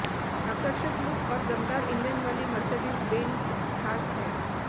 आकर्षक लुक और दमदार इंजन वाली मर्सडीज बेंज खास है